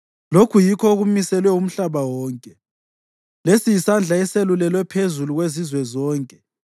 Lokhu yikho okumiselwe umhlaba wonke, lesi yisandla eselulelwe phezu kwezizwe zonke.